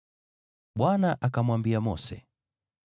Bwana akamwambia Mose,